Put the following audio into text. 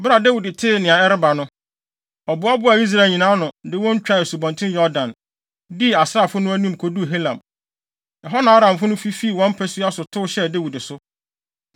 Bere a Dawid tee nea ɛreba no, ɔboaboaa Israel nyinaa ano, de wɔn twaa Asubɔnten Yordan, dii asraafo no anim, koduu Helam. Ɛhɔ na Aramfo no fifii wɔn mpasua so tow hyɛɛ Dawid so.